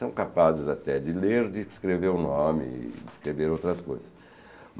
São capazes até de ler, de escrever o nome e de escrever outras coisas.